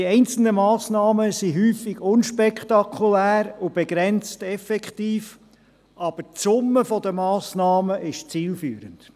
Die einzelnen Massnahmen sind häufig unspektakulär und begrenzt effektiv, zielführend ist aber die Summe der Massnahmen.